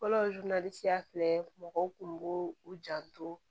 Fɔlɔ filɛ mɔgɔw kun b'u u janto